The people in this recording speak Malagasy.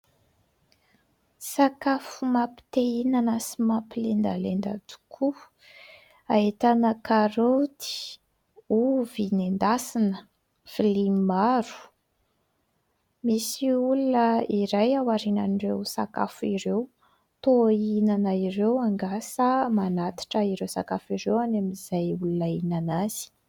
Sakafo mampite hihinana sy mampilendalendra tokoa, ahitana karoty, ovy nendasina, vilia maro. Misy olona iray ao aorianan'ireo sakafo ireo. Toa hihinana ireo angaha, sa manatitra ireo sakafo ireo any amin'izay olona hihinana azy ?